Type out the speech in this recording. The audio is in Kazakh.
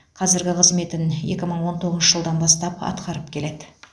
қазіргі қызметін екі мың он тоғызыншы жылдан бастап атқарып келеді